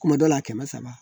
Kuma dɔ la kɛmɛ saba